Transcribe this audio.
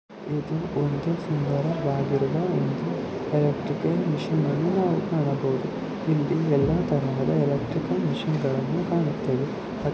ಒಂದು ಸುಂದರವಾಗಿರುವ ಒಂದು ಎಲೆಕ್ಟ್ರಿಕಲ್ ಮೆಷಿನ್ ಅನ್ನು ನಾವು ಕಾಣಬಹುದು ಇಲ್ಲಿ ಎಲ್ಲ ತರಹದ ಎಲೆಕ್ಟ್ರಿಕಲ್ ಮೆಷಿನ್ ಕಾಣುತ್ತೇವೆ.